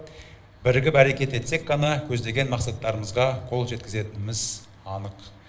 бірігіп әрекет етсек қана көздеген мақсаттарымызға қол жеткізетініміз анық